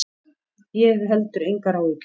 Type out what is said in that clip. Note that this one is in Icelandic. Ég hef heldur engar áhyggjur.